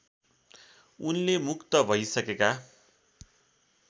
उनले मुक्त भैसकेका